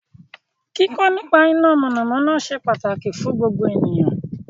Kíkọ́ nípa iná iná mọ̀nàmọ́ná ṣe pàtàkì fún gbogbo ènìyàn